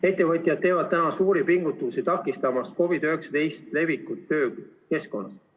Ettevõtjad teevad täna suuri pingutusi takistamaks COVID-19 levikut töökeskkonnas.